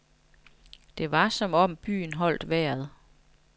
Det var som om byen holdt vejret.